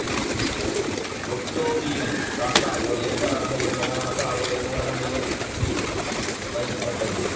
ஒக்டாவியோவின் தாத்தா ஓர் எழுத்தாளராக இருந்த காரணத்தால் அவருடைய நூலகம் இவருக்குப் பயன்பட்டது